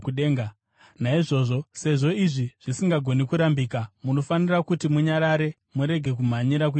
Naizvozvo, sezvo izvi zvisingagoni kurambika, munofanira kuti munyarare murege kumhanyira kuita chinhu.